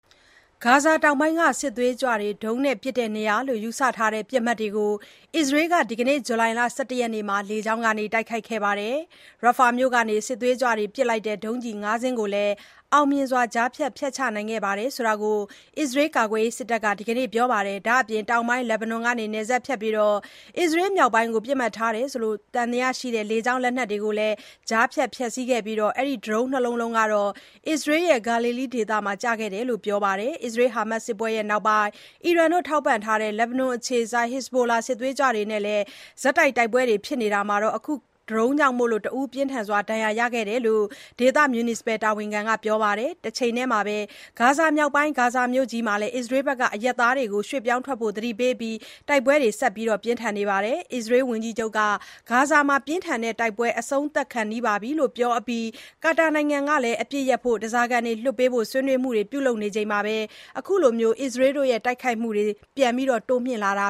ဂါဇာတောင်ပိုင်းက စစ်သွေးကြွတွေ ဒုံးနဲ့ပစ်တဲ့နေရာလို့ ယူဆထားတဲ့ပစ်မှတ်တွေကို အစ္စရေးက ဒီကနေ့ ဇူလိုင် ၁၁ ရက်နေ့မှာ လေကြောင်းက တိုက်ခိုက်ခဲ့ပါတယ်။ Rafah မြို့ကနေ စစ်သွေးကြွတွေ ပစ်လိုက်တဲ့ ဒုံးကျည် ၅ ခုကိုလည်း အောင်မြင်စွာ ကြားဖြတ်ဖျက်ချနိုင်ခဲ့တယ်လို့ အစ္စရေးကာကွယ်ရေးစစ်တပ်က ဒီနေ့ ပြောလိုက်ပါတယ်။ ဒါ့အပြင် တောင်ပိုင်း လက်ဘနွန်ကနေ နယ်စပ်ဖြတ်ပြီး အစ္စရေးမြောက်ပိုင်းကို ပစ်မှတ်ထားသံသယရှိတဲ့ လေကြောင်း လက်နက်တွေကိုလည်း ကြားဖြတ်ဖျက်ဆီးခဲ့တယ်၊ ဒါပေမဲ့ ဒရုန်း ၂ လုံးကတော့ အစ္စရေးရဲ့ Galilee ဒေသမှာ ကျခဲ့တယ်လို့ ဆက်ပြောပါတယ်။ အစ္စရေး-ဟာမတ်စစ်ပွဲနောက်ပိုင်း အီရန်ထောက်ပံ့ထားတဲ့ လက်ဘနွန်အခြေစိုက် Hezbollah စစ်သွေးကြွတွေနဲ့လည်း ဆက်တိုက်ပွဲဖြစ်တာမှာ၊ အခုဒရုန်းကြောင့် တဦး ပြင်းထန်ဒဏ်ရာရခဲ့တယ်လို့ ဒေသမြူနီစပယ်တာဝန်ခံက ပြောပါတယ်။ တချိန်ထဲမှာ ဂါဇာမြောက်ပိုင်း ဂါဇာမြို့ကြီးမှာလည်း အစ္စရေးဘက်က အရပ်သားတွေကို ရွှေ့ပြောင်းထွက်ပေးဖို့ သတိပေးအပြီးမှာ တိုက်ပွဲတွေဆက်ပြင်းထန်နေပါတယ်။ အစ္စရေးဝန်ကြီးချုပ်က ဂါဇာမှာ ပြင်းထန်တဲ့တိုက်ပွဲကာလ အဆုံးသတ်ခါနီးပြီလို့ ပြောအပြီးနဲ့ ကာတာနိုင်ငံမှာ အပစ်ရပ်ရေးနဲ့ ဓားစာခံလွှတ်ပေးရေး ဆွေးနွေးမှုတွေ ဆက်လက် ပြုလုပ်နေချိန်မှာ အခုလို အစ္စရေးရဲ့ တိုက်ခိုက်မှုတွေ ပြန်တိုးမြှင့်လာတ